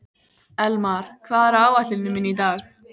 Elmar, hvað er á áætluninni minni í dag?